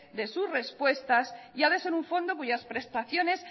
de su respuesta y ha de ser un fondo cuyas prestaciones